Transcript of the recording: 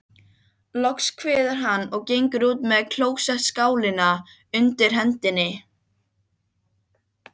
Loks kveður hann, og gengur út með klósettskálina undir hendinni.